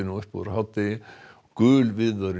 upp úr hádegi og gul viðvörun